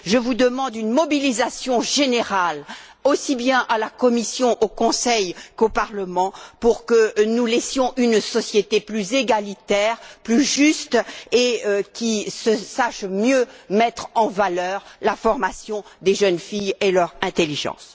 Je vous demande une mobilisation générale, aussi bien à la Commission, au Conseil qu'au Parlement, pour que nous laissions une société plus égalitaire, plus juste et qui sache mieux mettre en valeur la formation des jeunes filles et leur intelligence.